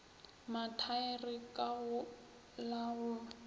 mathaere ka go la go